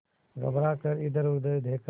घबरा कर इधरउधर देखा